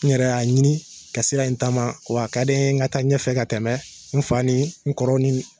N yɛrɛ y'a ɲini ka sira in taama wa ka di n ye n ka taa ɲɛfɛ ka tɛmɛ n fa ni n kɔrɔ ni